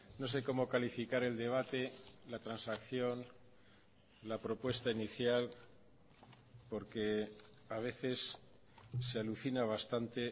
no sé cómo calificar el debate la transacción la propuesta inicial porque a veces se alucina bastante